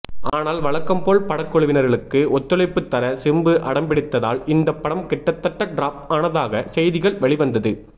ஆனால் வழக்கம்போல் படக்குழுவினர்களுக்கு ஒத்துழைப்பு தர சிம்பு அடம்பிடித்ததால் இந்த படம் கிட்டத்தட்ட டிராப் ஆனதாக செய்திகள் வெளிவந்தது